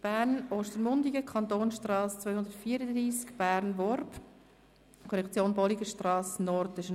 Bern/Ostermundigen, Kantonstrasse Nr. 234, Bern– Worb, Korrektion Bolligenstrasse Nord».